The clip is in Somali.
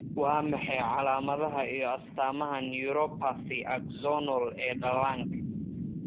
Waa maxay calaamadaha iyo astaamaha neuropathy axonal ee dhallaanka?